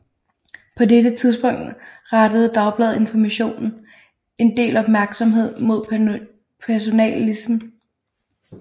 På dette tidspunkt rettede Dagbladet Information en del opmærksomhed mod personalismen